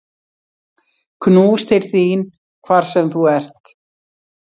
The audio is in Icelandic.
Knús til þín hvar sem þú ert.